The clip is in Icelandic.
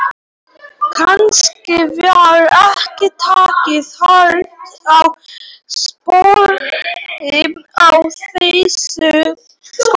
Kannski var ekki tekið hart á skrópi í þessum skóla.